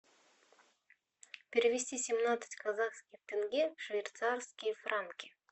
перевести семнадцать казахских тенге в швейцарские франки